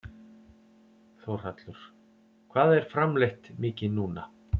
Þórhallur: Hvað er framleitt mikið núna?